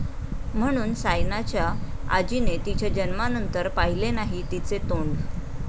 ...म्हणून सायनाच्या आजीने तिच्या जन्मानंतर पाहिले नाही तिचे तोंड